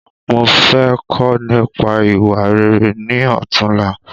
Mo fẹ́ kọ́ nípa ìwà rere ni ọ̀túnla